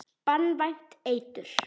Banvænt eitur.